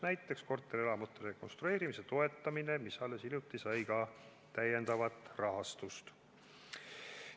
Näiteks, korterelamute rekonstrueerimise toetamine, mis alles hiljuti sai ka täiendavat rahastust.